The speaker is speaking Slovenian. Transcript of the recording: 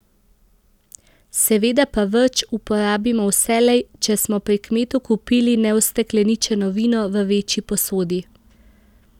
Seveda pa vrč uporabimo vselej, če smo pri kmetu kupili neustekleničeno vino v večji posodi.